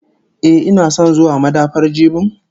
Ehh, ina son zuwa madafar jibin?